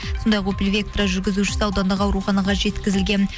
сондай ақ опел вектра жүргізушісі аудандық ауруханаға жеткізілген